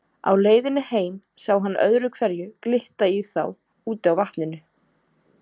Á leiðinni heim sá hann öðru hverju glitta í þá úti á vatninu.